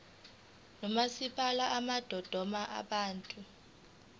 nomasipala bamadolobha abathathu